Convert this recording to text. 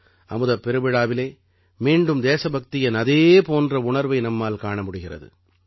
அமுதப் பெருவிழாவிலே மீண்டும் தேசபக்தியின் அதே போன்ற உணர்வை நம்மால் காண முடிகிறது